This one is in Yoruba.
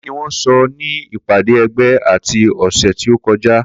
Kini wọn sọ ní ìpàdé ẹgbẹ́ ti ọ̀sẹ̀ tí o kọjá